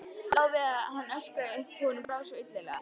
Lá við að hann öskraði upp, honum brá svo illilega.